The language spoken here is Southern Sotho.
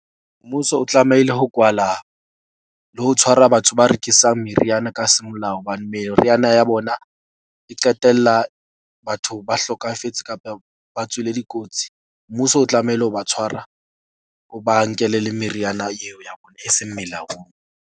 Mmuso o tlamehile ho kwala le ho tshwara batho ba rekisang meriana ka semolao, hobane meriana ya bona e qetella batho ba hlokafetse kapa ba tswile dikotsi. Mmuso o tlamehile ho ba tshwara, o ba nkele le meriana eo ya bona e seng melaong.